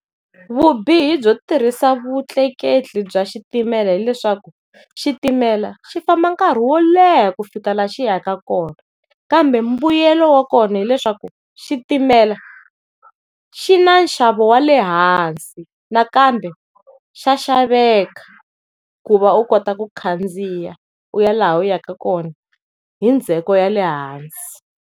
Vubihi byo tirhisa vutleketli bya xitimela hileswaku xitimela xi famba nkarhi wo leha ku fika laha xi yaka kona, kambe mbuyelo wa kona hileswaku xitimela xi na nxavo wa lehansi nakambe xa xaveka ku va u kota ku khandziya u ya laha u yaka kona hi ndzheko ya lehansi.